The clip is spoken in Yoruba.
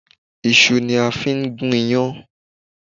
Iṣu ni a fi ń gún iyán